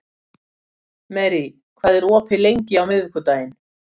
Marie, hvað er opið lengi á miðvikudaginn?